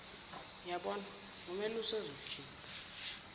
yabonwa ngumelusi ezokhipha